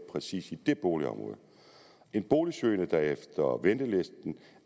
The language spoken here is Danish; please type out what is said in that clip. præcis i det boligområde en boligsøgende der efter ventelisten